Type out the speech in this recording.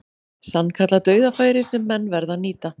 Sannkallað dauðafæri sem menn verða að nýta.